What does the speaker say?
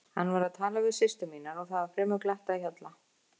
Hann var að tala við systur mínar og það var fremur glatt á hjalla.